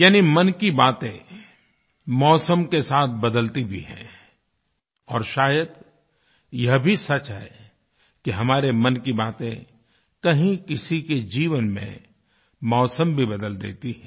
यानी मन की बातें मौसम के साथ बदलती भी हैं और शायद यह भी सच है कि हमारे मन की बातें कहीं किसी के जीवन में मौसम भी बदल देती हैं